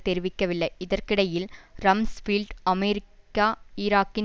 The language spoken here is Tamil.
தெரிவிக்கவில்லை இதற்கிடையில் ரம்ஸ்பீல்ட் அமெரிக்கா ஈராக்கின்